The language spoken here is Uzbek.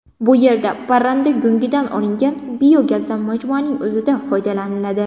Bu yerda parranda go‘ngidan olingan biogazdan majmuaning o‘zida foydalaniladi.